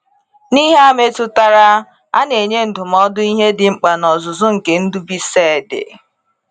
N’ihe a metụtara, ana enye ndụmọdụ ihe dị mkpa n’ọzụzụ nke Ndubuisiced.